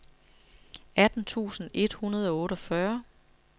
atten tusind et hundrede og otteogfyrre